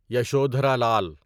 Yashodhara Lal